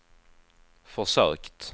försökt